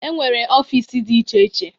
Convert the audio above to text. E nwere ọfịs dị iche iche.